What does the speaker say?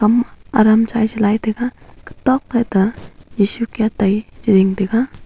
hma adam chaichilai taga katok phai ka yeshu kya tai chi zing tega.